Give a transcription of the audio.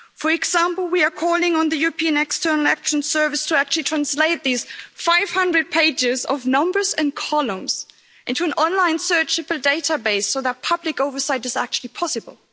For example, we are calling on the European External Action Service to actually translate these 500 pages of numbers and columns into an online searchable database so that public oversight is actually possible.